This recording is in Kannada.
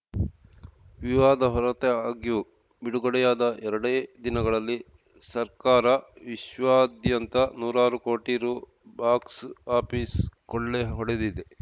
ವಿವಾದ ಹೊರತಾಗ್ಯೂ ಬಿಡುಗಡೆಯಾದ ಎರಡೇ ದಿನಗಳಲ್ಲಿ ಸರ್ಕಾರವಿಶ್ವಾದ್ಯಂತ ನೂರಾರು ಕೋಟಿ ರು ಬಾಕ್ಸ್‌ ಆಪೀಸ್‌ ಕೊಳ್ಳೆ ಹೊಡೆದಿದೆ